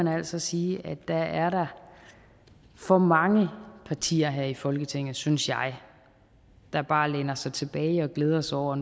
altså sige at der er der for mange partier her i folketinget synes jeg der bare læner sig tilbage og glæder sig over